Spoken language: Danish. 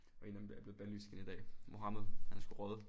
Og en af dem er blevet banlyst igen i dag. Mohammed han er sgu røget